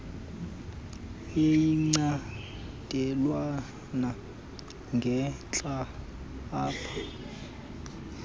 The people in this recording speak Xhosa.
yecandelwana ngentla apha